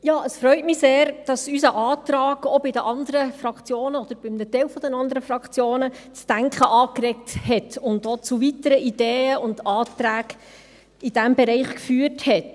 Es freut mich sehr, dass unser Antrag, auch bei den anderen Fraktionen oder bei einem Teil der anderen Fraktionen, das Denken angeregt und zu weiteren Ideen und Anträgen in diesem Bereich geführt hat.